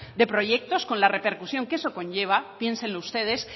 de proyectos con la repercusión que eso conlleva piénsenlo ustedes